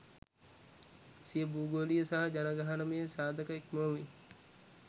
සිය භූගෝලීය සහ ජනගහනමය සාධක ඉක්මවමින්